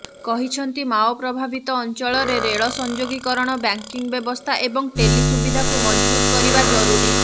କହିଛନ୍ତି ମାଓ ପ୍ରଭାବିତ ଅଂଚଳରେ ରେଳ ସଂଯୋଗୀକରଣ ବ୍ୟାଙ୍କିଂ ବ୍ୟବସ୍ଥା ଏବଂ ଟେଲି ସୁବିଧାକୁ ମଜବୁତ କରିବା ଜରୁରୀ